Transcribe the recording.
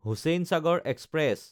Hussainsagar express